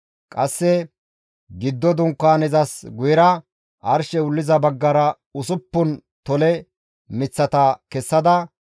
Qasse giddo Dunkaanezas guyera arshey wulliza baggara usuppun tole miththata kessada,